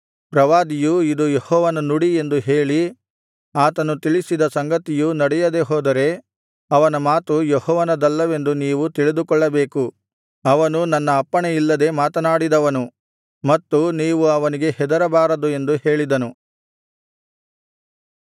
ಪ್ರವಾದಿಯು ಇದು ಯೆಹೋವನ ನುಡಿ ಎಂದು ಹೇಳಿ ಆತನು ತಿಳಿಸಿದ ಸಂಗತಿಯೂ ನಡೆಯದೆ ಹೋದರೆ ಅವನ ಮಾತು ಯೆಹೋವನದಲ್ಲವೆಂದು ನೀವು ತಿಳಿದುಕೊಳ್ಳಬೇಕು ಅವನು ನನ್ನ ಅಪ್ಪಣೆ ಇಲ್ಲದೆ ಮಾತನಾಡಿದವನು ಮತ್ತು ನೀವು ಅವನಿಗೆ ಹೆದರಬಾರದು ಎಂದು ಹೇಳಿದನು